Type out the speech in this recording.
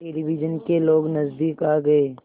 television के लोग नज़दीक आ गए